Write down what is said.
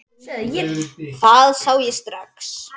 Það sá ég strax.